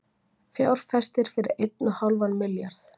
Fjárfestir fyrir einn og hálfan milljarð